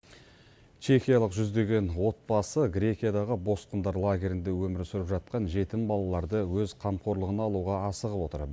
чехиялық жүздеген отбасы грекиядағы босқындар лагерінде өмір сүріп жатқан жетім балаларды өз қамқорлығына алуға асығып отыр